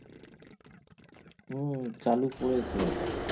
হুম চালু করেছে ওটা